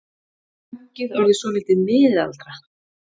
Pönkið orðið soltið miðaldra.